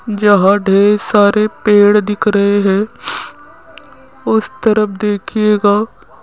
यहां ढेर सारे पेड़ दिख रहे हैं उस तरफ देखिएगा --